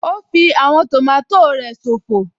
Ó fí àwọn tòmátò rẹ̀ ṣòfò